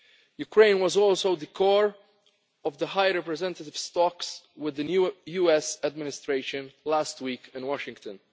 strand. Ukraine was also at the core of the High Representative's talks with the new US Administration last week in Washington.